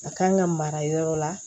A kan ka mara yɔrɔ la